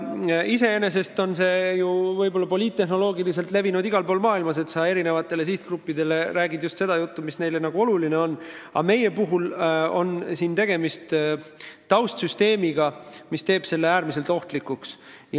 Iseenesest on see võib-olla poliittehnoloogiliselt mujal maailmas levinud, et eri sihtgruppidele räägitakse just seda juttu, mis neile oluline on, aga meie puhul on tegemist taustsüsteemiga, mis teeb selle äärmiselt ohtlikuks.